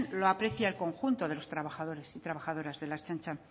lo aprecia el conjunto de los trabajadores y trabajadoras de la ertzaintza